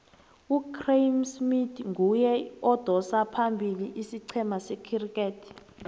ugraeme smith nguye odosa phambili isicema secriket